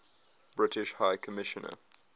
british high commissioner